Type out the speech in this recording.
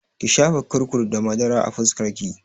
Ki shafa kurkur da madara a fuskar ki!